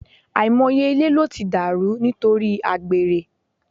Àìmọye ilé ló ti dàrú nítorí àgbèrè